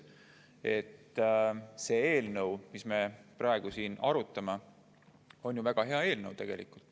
See eelnõu, mida me praegu siin arutame, on ju väga hea eelnõu.